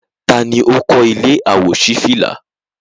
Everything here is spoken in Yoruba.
Taa ni ó kọ́ ilé àwòṣífìlà?